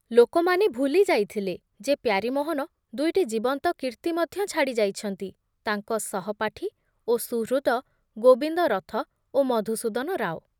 ଲୋକମାନେ ଭୁଲି ଯାଇଥିଲେ ଯେ ପ୍ୟାରୀମୋହନ ଦୁଇଟି ଜୀବନ୍ତ କୀର୍ତ୍ତି ମଧ୍ୟ ଛାଡ଼ି ଯାଇଛନ୍ତି, ତାଙ୍କ ସହପାଠୀ ଓ ସୁହୃଦ ଗୋବିନ୍ଦ ରଥ ଓ ମଧୁସୂଦନ ରାଓ ।